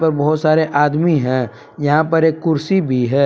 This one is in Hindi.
बहुत सारे आदमी हैं यहां पर एक कुर्सी भी है।